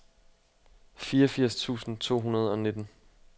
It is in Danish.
fireogfirs tusind to hundrede og nitten